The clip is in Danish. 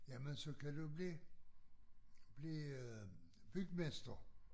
Jamen så kan du blive blive øh bygmester